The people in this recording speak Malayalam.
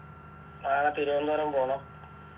നാളെ തിരുവനന്തപുരം പോണം